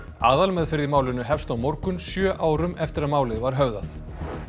aðalmeðferð í málinu hefst á morgun sjö árum eftir að málið var höfðað